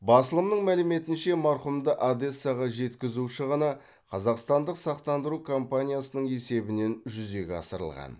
басылымның мәліметінше марқұмды одессаға жеткізу шығыны қазақстандық сақтандыру компаниясының есебінен жүзеге асырылған